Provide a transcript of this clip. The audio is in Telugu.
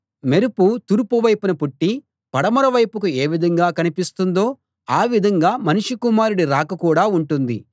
మెరుపు తూర్పు వైపున పుట్టి పడమర వైపుకు ఏవిధంగా కనిపిస్తుందో ఆ విధంగా మనుష్య కుమారుడి రాక కూడా ఉంటుంది